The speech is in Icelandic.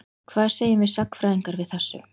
Hvað segjum við sagnfræðingar við þessu?